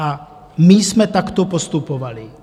A my jsme takto postupovali.